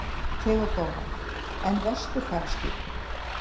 THEODÓRA: En vesturfaraskipið?